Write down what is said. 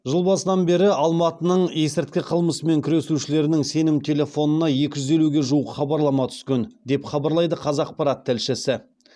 жыл басынан бері алматының есірткі қылмысымен күресушілерінің сенім телефонына екі жүз елуге жуық хабарлама түскен деп хабарлайды қазақпарат тілшісі